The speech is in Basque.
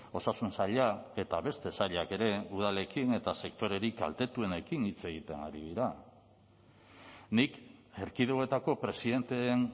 osasun saila eta beste sailak ere udalekin eta sektorerik kaltetuenekin hitz egiten ari dira nik erkidegoetako presidenteen